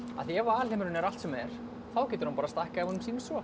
af því ef alheimurinn er allt sem er þá getur hann stækkað ef honum sýnist svo